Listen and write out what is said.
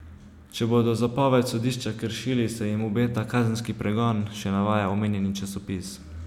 Če bodo zapoved sodišča kršili, se jim obeta kazenski pregon, še navaja omenjeni časopis.